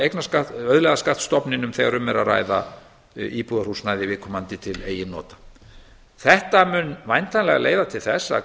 eignarskatt auðlegðarskattstofninum þegar um er að ræða íbúðarhúsnæði viðkomandi til eigin nota þetta mun væntanlega leiða til þess að